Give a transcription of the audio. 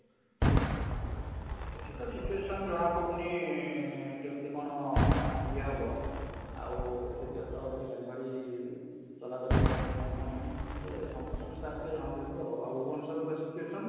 ଏଠିତ situation ଜଣା ପଡୁନି ଅଁ ଅଁ କେମିଟତି କଣ ଅଁ ଅଁ ଇଏ ହବ ଆଉ ଆଜି ଗାଡି ଫାଡ଼ି ଇ ଚଳାଚୁଲି କଣ ହଉଛି କଣ ନାଇଁ ସେ ସନ୍ତୋଷ ମିଶ୍ର ଆସିଲେ ଜଣା ପଡିଯିବ ଆଉ ଭୁବନେଶ୍ୱରର situation ?